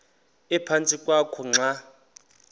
ephantsi kwakho xa